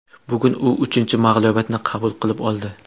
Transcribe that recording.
Bugun u uchinchi mag‘lubiyatini qabul qilib oldi.